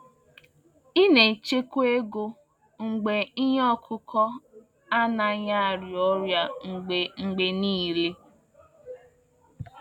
Ị na-echekwa ego mgbe ihe ọkụkụ anaghị arịa ọrịa mgbe mgbe niile.